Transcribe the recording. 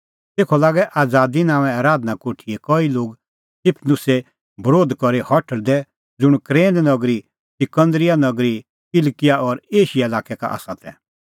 तेखअ लागै आज़ादी नांओंए आराधना कोठीए कई लोग स्तिफनुसे बरोध करी हठल़दै ज़ुंण कुरेन नगरी सिकंदरीया नगरी किलकिआ और एशिया लाक्कै का तै